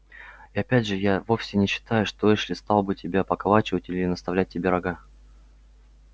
и опять же я вовсе не считаю что эшли стал бы тебя поколачивать или наставлять тебе рога